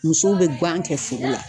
Musow bɛ gan kɛ foro la.